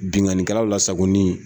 Binkaikɛlaw la sagoni ye